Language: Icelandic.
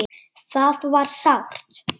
Það var sárt.